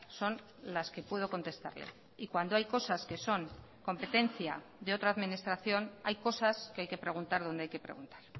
son las que puedo contestarle y cuando hay cosas que son competencia de otra administración hay cosas que hay que preguntar donde hay que preguntar